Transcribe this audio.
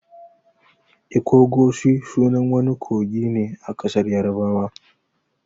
'Ikogosi'' sunan wani kogi ne a ƙasar yarabawa.